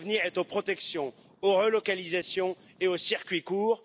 L'avenir est à la protection, aux relocalisations et aux circuits courts.